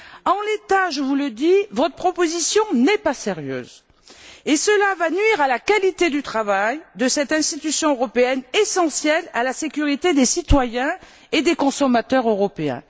En l'état je vous le dis votre proposition n'est pas sérieuse, ce qui va nuire à la qualité du travail de cette institution européenne essentielle à la sécurité des citoyens et des consommateurs européens.